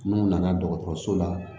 N'u nana dɔgɔtɔrɔso la